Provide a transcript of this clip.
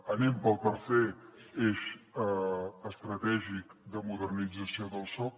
anem pel tercer eix estratègic de modernització del soc